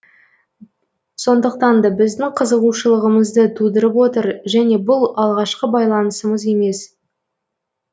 сондықтан да біздің қызығушылығымызды тудырып отыр және бұл алғашқы байланысымыз емес